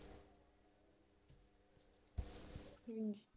ਹਮ